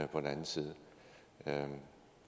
den anden side